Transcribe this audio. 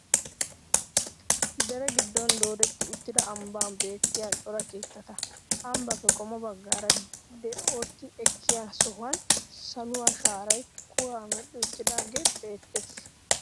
Dere giddon doodetta uttida ambben beettiyaa cora keettata. Ambbaappe qommo baggaara deten'oti ekkiya sohuwan saluwaa shaarayi kuwaa medhdhi uttidoogee beettes.